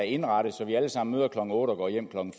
indrettet så vi alle sammen møder klokken otte og går hjem klokken